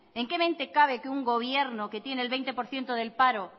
en qué mente cabe que un gobierno que tiene el veinte por ciento del paro